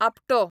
आपटो